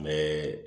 Mɛ